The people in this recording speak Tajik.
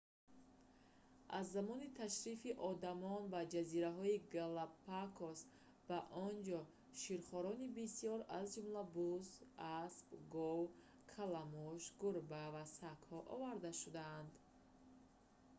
аз замони ташрифи одам ба ҷазираҳои галапагос ба он ҷо ширхорони бисёр аз ҷумла буз асп гов каламуш гурба ва сагҳо оварда шуданд